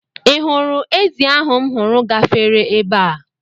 Ị hụrụ ezì ahụ m hụrụ gafere ebe a?